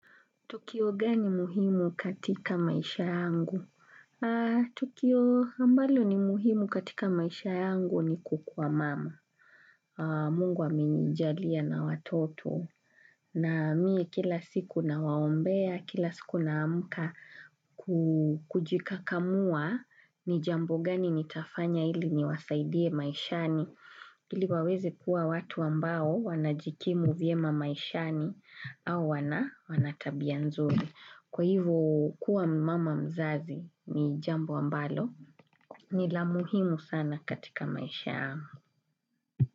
Tukio gani muhimu katika maisha yangu? Tukio ambalo ni muhimu katika maisha yangu ni kukua mama. Mungu amenijalia na watoto. Na mimi kila siku na waombea, kila siku na amka kujika kamua ni jambo gani ni tafanya ili ni wasaidie maishani. Ili waweze kuwa watu ambao wanajikimu vyema maishani au wanatabia nzuri. Kwa hivyo kuwa mama mzazi ni jambo ambalo ni lamuhimu sana katika maishayangu.